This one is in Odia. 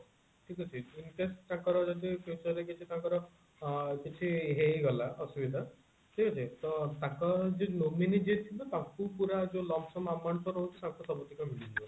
ଠିକ ଅଛି incase ତାଙ୍କ ର ଯଦି future ରେ କିଛି ତାଙ୍କର ଆ କିଛି ହେଇଗଲା ଅସୁବିଧା ଠିକ ଅଛି ତାଙ୍କ nominee ଯିଏ ଥିବ ତାଙ୍କୁ ପୁରା ଯୋଉ amount ତାଙ୍କୁ ସବୁ ଗୁଡିକ ମିଳିଯିବ